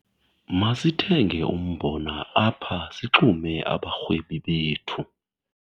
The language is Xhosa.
Masithenge umbona apha sixume abarhwebi bethu.